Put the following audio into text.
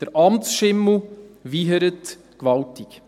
Der Amtsschimmel wiehert gewaltig.